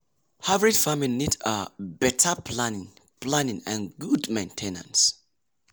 hybrid farming need um better planning planning and good main ten ance.